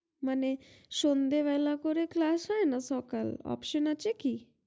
মানে সন্ধ্যে বেলা করে class না সকাল option আসে কি